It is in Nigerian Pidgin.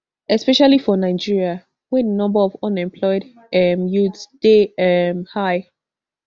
especially for nigeria wey di number of unemployed um youths dey um high